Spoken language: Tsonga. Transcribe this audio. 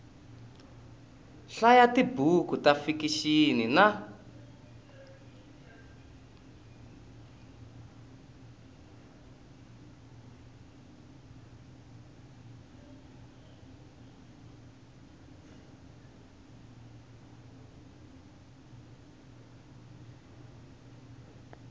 hlaya tibuku ta fikixini na